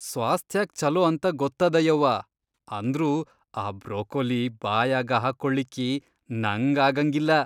ಸ್ವಾಸ್ಥ್ಯಾಕ್ ಛಲೋ ಅಂತ ಗೊತ್ತದ ಯವ್ವಾ ಅಂದ್ರೂ ಆ ಬ್ರೊಕೊಲಿ ಬಾಯಾಗ ಹಾಕ್ಕೋಳಿಕ್ಕೀ ನಂಗ್ ಆಗಂಗಿಲ್ಲ.